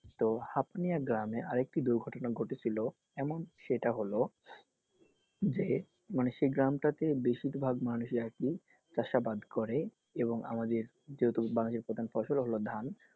তো হাপনিয়া গ্রামে আরেকটি দুর্ঘটনা ঘটেছিল এমন সেটা হল যে মানে সেই গ্রামটাতে মানে বেশিরভাগ মানুষই আরকি চাষাবাদ করে এবং আমাদের যেহেতু বাঙালির প্রধান ফসল হলো ধান,